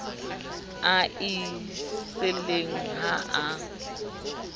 a e siileng ha a